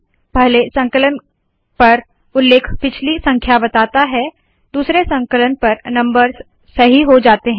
पहले संकलन पर उल्लेख पिछली संख्या बताता है दूसरे संकलन पर नम्बर्स सही हो जाते है